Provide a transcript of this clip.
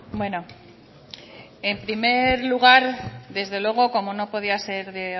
bueno en primer lugar desde luego como no podía ser de